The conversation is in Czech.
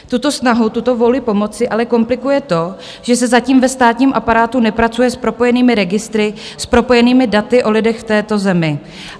Tuto snahu, tuto vůli pomoci ale komplikuje to, že se zatím ve státním aparátu nepracuje s propojenými registry, s propojenými daty o lidech v této zemi.